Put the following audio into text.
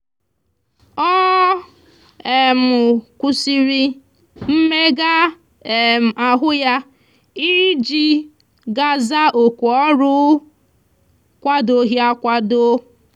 ọ um kwụsịrị mmega um ahụ ya iji ga za oku ọrụ ọ kwadoghị akwado.